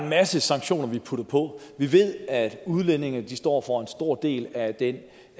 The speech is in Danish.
masse sanktioner vi putter på og vi ved at udlændinge står for en stor del af det